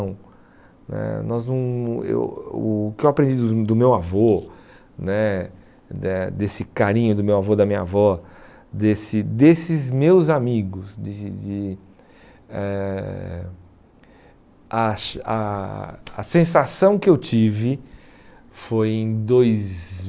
né nós não eu O que eu aprendi dos do meu avô né, eh desse carinho do meu avô e da minha avó, desse desses meus amigos de de, eh acho a a sensação que eu tive foi em dois